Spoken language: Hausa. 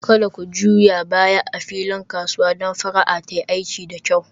Kada ku juya baya a filin kasuwa don fara'a ta yi aiki da kyau